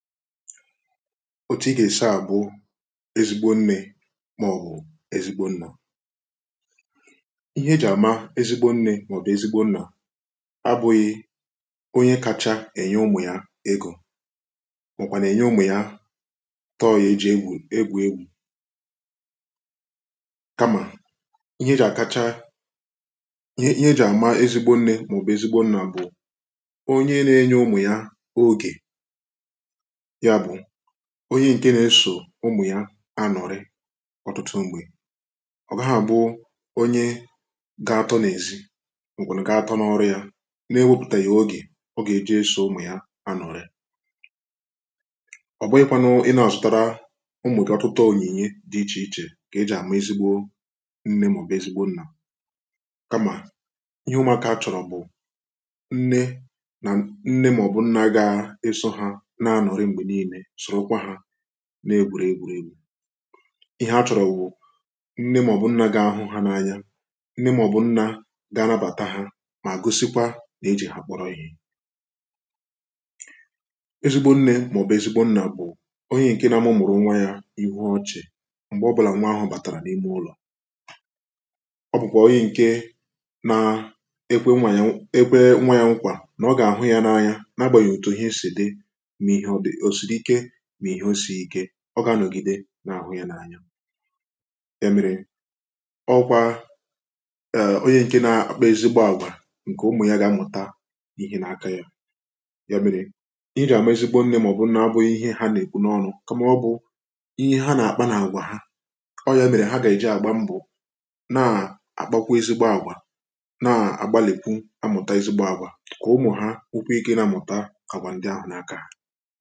otu ị ga-ahụ ezigbo nne ma ọ bụ ezigbo nna ihe eji ama ezigbo nne ma ọ bụ ezigbo nna abụghị onye kacha enye ụmụ ya ego ma ọ kwanụ enye ụmụ ya tọọyị eji egwu egwu ka ma ihe eji akacha ihe eji ama ezigbo nne ma ọ bụ ezigbo nna bụ onye na enye ụmụ ya oge onye ǹke na-esò ụmụ̀ ya anọ̀rị ọtụtụ mgbe ọ gaa àbụ onye gà-atọ̇ n’èzi ǹkweli̇ gà-atọ n’ọrụ ya na-ewepùtàghì ogè ọ gà-èje isò ụmụ̀ ya anọ̀rị ọ̀bụghị̇kwȧ nụ ị na-àsụtara ụmụ̀ gị ọtụtụ ònyìnye dị ichè ichè kà e jì àmụ̀ ezigbo nne màọ̀bụ̀ ezigbo nnà kamà ihe ụmụ̀akȧ chọ̀rọ̀ bụ̀ nne nà nne màọ̀bụ̀ nnà ga-eso ha na-egwùrė egwùrė egwu ihe achọrọ wụ nne ma ọ bụ nna ga-ahụ ha n’anya nne ma ọ bụ nna ga-anabata ha ma gosikwa na e ji ha kpọrọ ihe ezigbo nne ma ọ bụ ezigbo nna bụ onye nke na mụmụrụ nwa ya ihu ọchị m̀gbè ọ bụla nwa ahụ bàtàrà na ime ụlọ̀ ọ bụkwa onye nke na-ekwe nwa ya ekwe nwa ya nkwà na ọ gà-àhụ ya n’anya na agbàghị̀ òtù ihe si dị mà ihẹ̀ o sì ike ọ gà à nọ̀gide nà àhụ ya n’anya ya mẹ̀rẹ̀ ọ kwà ẹ̀ onye ǹke nȧ-akpọ ezigbo àgwà ǹkẹ̀ ụmụ̀ ya gà amụ̀ta n’ihe nà aka ya ya mẹ̀rẹ̀ ị rị̀a amụ̀ ezigbo nne mà ọ̀ bụ̀ nnȧ-abụ̀ ihe ha nà èkwu n’ọnụ kama ọ bụ̀ ihe ha nà àkpà nà àgwà ha ọ yȧ mẹ̀rẹ̀ ha gà èji àgba mbụ̀ nà à kpakwa ezigbo àgwà nà à gbalìkwu amụ̀ta ezigbo àgwà kà ụmụ̀ ha nwukwu ike nȧ-amụ̀ta àgwà ndị ahụ̀ nà aka